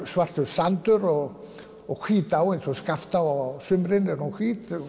svartur sandur og og hvít á eins og Skaftá á sumrin er hún hvít